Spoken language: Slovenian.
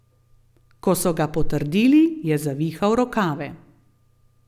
Ko so ga potrdili, je zavihal rokave.